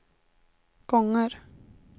gånger